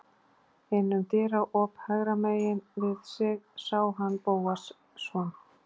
Inn um dyraop hægra megin við sig sá hann Bóas, son